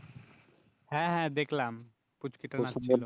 হ্যাঁ হ্যাঁ দেখলাম পুঁচকিটা নাচছিল